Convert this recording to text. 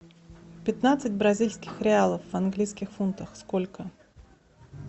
пятнадцать бразильских реалов в английских фунтах сколько